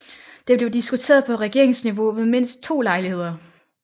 Det blev diskuteret på regeringsniveau ved mindst to lejligheder